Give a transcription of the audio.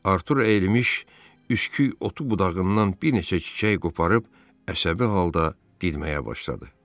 Artur əyilmiş üsküyotu budağından bir neçə çiçək qoparıb əsəbi halda didməyə başladı.